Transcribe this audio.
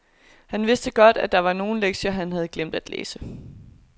Han vidste godt, at der var nogle lektier, han havde glemt at læse.